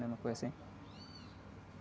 né? Uma coisa assim.